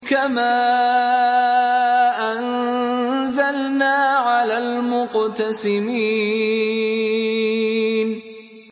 كَمَا أَنزَلْنَا عَلَى الْمُقْتَسِمِينَ